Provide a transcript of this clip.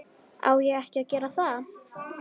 Á ekki að gera það.